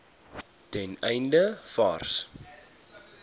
ten einde vars